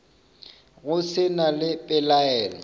go se na le pelaelo